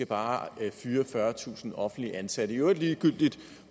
bare skal fyre fyrretusind offentligt ansatte i øvrigt ligegyldigt